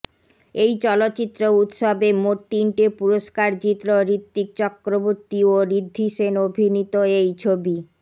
এই চলচ্চিত্র উৎসবে মোট তিনটে পুরষ্কার জিতল ঋত্বিক চক্রবর্তী ও ঋদ্ধি সেন অভিনীত এই ছবি